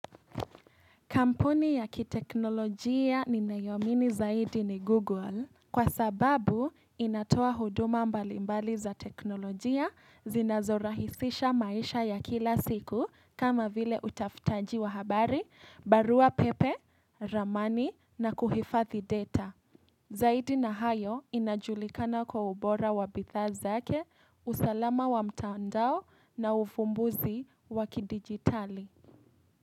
Kampuni ya kiteknolojia ninayoamini zaidi ni Google kwa sababu inatoa huduma mbalimbali za teknolojia zinazorahisisha maisha ya kila siku kama vile utafutaji wa habari, barua pepe, ramani na kuhifathi data. Zaidi na hayo inajulikana kwa ubora wa bidhaa zake, usalama wa mtandao na ufumbuzi wa kidigitali.